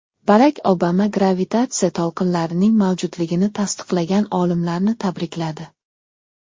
Barak Obama gravitatsiya to‘lqinlarining mavjudligini tasdiqlagan olimlarni tabrikladi.